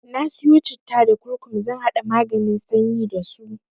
Na siyo citta da kurkum zan haɗa maganin sanyi dasu.